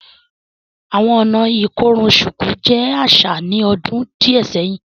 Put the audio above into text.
Awọn ọ̀nà ikorùn ṣukù jẹ aṣa ní òdún díẹ̀ sẹ̀hin